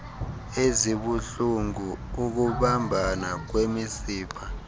ezibuhlulngu ukubambana kwemisipha